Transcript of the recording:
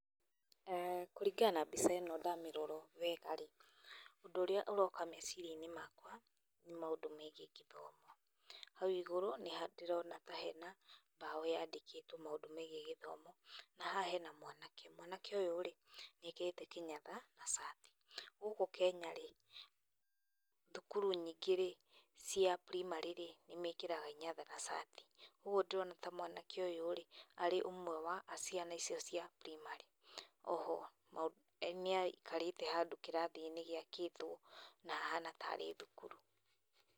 Kũringana na mbica ĩno ndamĩrora wega-rĩ, ũndũ ũrĩa ũroka meciria-inĩ makwa nĩ maũndũ megiĩ gĩthomo. Hau igũrũ ndĩrona ta hena mbaũ yandĩkĩtwo maũndũ megiĩ githomo, na haha hena mwanake, mwanake ũyũ-rĩ nĩ ekĩrĩte kĩnyatha na cati. Gũkũ Kenya thukuru nyingĩ-rĩ cia primary -rĩ, nĩmekĩraga inyatha na cati. Uguo ndorana ta mwanake ũyũ-rĩ arĩ ũmwe wa ciana icia primary. Oho nĩ aikarĩte handũ kĩrathi-inĩ gĩakĩtwo, na hahana ta arĩ thukuru.